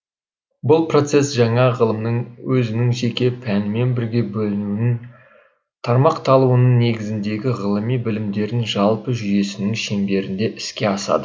бұл процесс жаңа ғылымның өзінің жеке пәнімен бірге бөлінуінің тармақталуының негізіндегі ғьлыми білімдердің жалпы жүйесінің шеңберінде іске асады